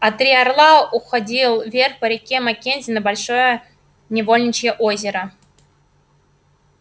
а три орла уходил вверх по реке маккензи на большое невольничье озеро